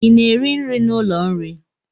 I na-eri nri n'ụlọ nri?